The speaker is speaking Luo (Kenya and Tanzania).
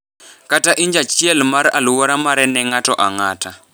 kata inj achiel mar alwora mare ne ng’ato ang’ata.